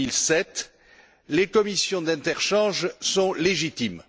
2007. Les commissions d'interchange sont légitimes.